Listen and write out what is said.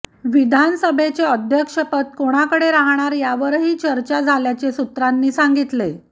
विधानसभेचे अध्यक्षपद कोणाकडे राहणार यावरही चर्चा झाल्याचे सूत्रांनी सांगितले